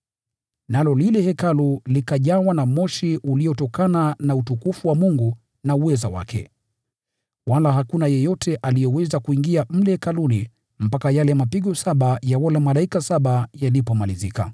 Nalo lile hekalu lilijawa na moshi uliotokana na utukufu wa Mungu na uweza wake, wala hakuna yeyote aliyeweza kuingia mle hekaluni mpaka yale mapigo saba ya wale malaika saba yalipomalizika.